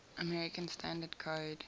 american standard code